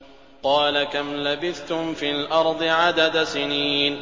قَالَ كَمْ لَبِثْتُمْ فِي الْأَرْضِ عَدَدَ سِنِينَ